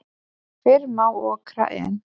Fyrr má okra en.